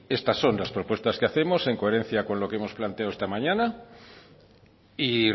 estas son las propuestas que hacemos en coherencia con lo que hemos planteado esta mañana y